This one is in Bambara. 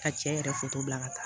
Ka cɛ yɛrɛ bila ka taa